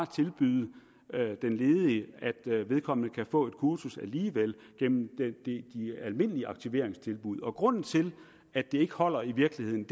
tilbyde den ledige at vedkommende kan få et kursus alligevel gennem de almindelige aktiveringstilbud og grunden til at det ikke holder i virkeligheden